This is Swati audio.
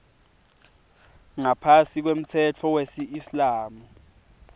ngaphasi kwemtsetfo wesiislamu